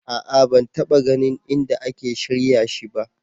A'a ban taɓa ganin inda ake shirya shi ba.